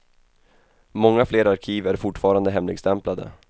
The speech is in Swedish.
Många fler arkiv är fortfarande hemligstämplade.